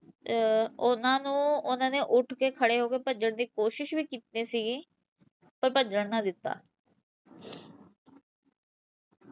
ਉਹਨਾਂ ਨੂੰ ਉਹਨਾਂ ਨੇ ਉਠ ਕੇ ਖੜੇ ਹੋ ਕੇ ਭੱਜਣ ਦੀ ਕੋਸ਼ਿਸ਼ ਵੀ ਕੀਤੀ ਸੀਗੀ ਪਰ ਭੱਜਣ ਨਾ ਦਿੱਤਾ